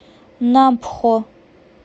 нампхо